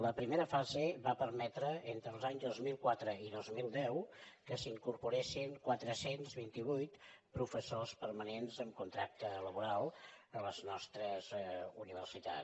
la primera fase va permetre entre els anys dos mil quatre i dos mil deu que s’incorporessin quatre cents i vint vuit professors permanents amb contracte laboral a les nostres universitats